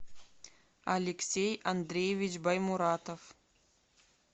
алексей андреевич баймуратов